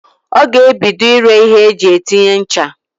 Ọ ga-ebido ire ihe eji etinye ncha.